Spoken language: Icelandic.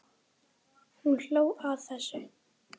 Hún hló að þessu.